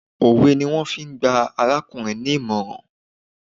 Òwe ni wọ́n fi gba arákùnrin ní ìmọ̀ràn.